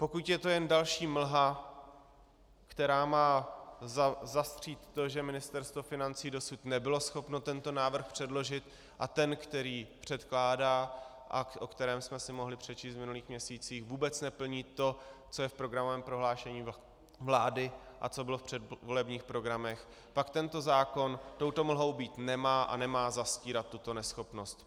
Pokud je to jen další mlha, která má zastřít to, že Ministerstvo financí dosud nebylo schopno tento návrh předložit, a ten, který předkládá a o kterém jsme si mohli přečíst v minulých měsících, vůbec neplní to, co je v programovém prohlášení vlády a co bylo v předvolebních programech, pak tento zákon touto mlhou být nemá a nemá zastírat tuto neschopnost.